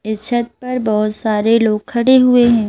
इस छत पर बहोत सारे लोग खड़े हुए हैं।